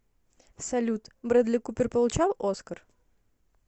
салют брэдли купер получал оскар